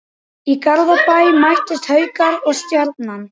Í Garðabæ mættust Haukar og Stjarnan.